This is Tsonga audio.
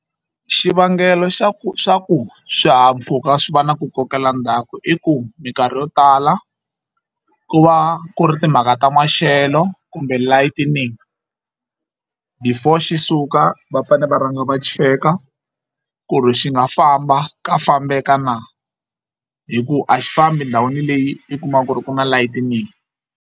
Xivangelo xa ku swa ku swihahampfhuka swi va na ku kokela ndzhaku i ku minkarhi yo tala ku va ku ri timhaka ta maxelo kumbe lighting before xi suka va fane va rhanga va cheka ku ri xi nga famba ka fambeka na hi ku a xi famba ndhawini leyi i kumaka ku ri ku na lighting.